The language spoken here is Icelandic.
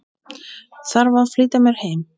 Þarf að flýta mér heim.